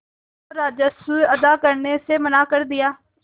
और राजस्व अदा करने से मना कर दिया